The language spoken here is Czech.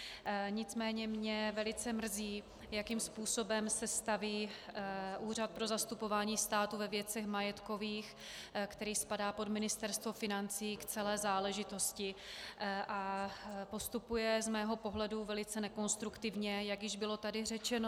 Nicméně mě velice mrzí, jakým způsobem se staví Úřad pro zastupování státu ve věcech majetkových, který spadá pod Ministerstvo financí, k celé záležitosti a postupuje z mého pohledu velice nekonstruktivně, jak již tady bylo řečeno.